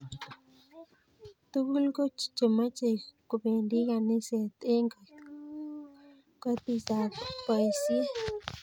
Togul ko chomei kobendii kaniset eng kotisap boisie.